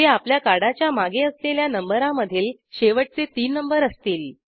जे आपल्या कार्डाच्या मागे असलेल्या नंबरामधील शेवटचे तीन नंबर असतील